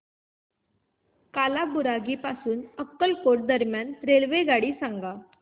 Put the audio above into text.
कालाबुरागी पासून अक्कलकोट दरम्यान रेल्वेगाडी सांगा